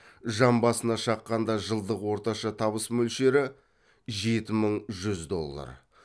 жан басына шаққанда жылдық орташа табыс мөлшері жеті мың жүз доллар